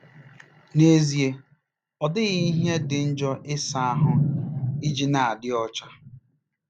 N'ezie, ọ dịghị ihe dị njọ n'ịsa ahụ iji na-adị ọcha.